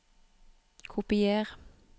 Kopier